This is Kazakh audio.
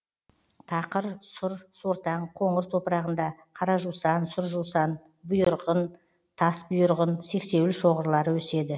тақыр сұр сортаң қоңыр топырағында қара жусан сұр жусан бұйырғын тасбұйырғын сексеуіл шоғырлары өседі